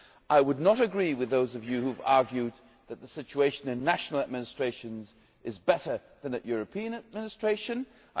I would not agree with those of you who have argued that the situation in national administrations is better than at European level.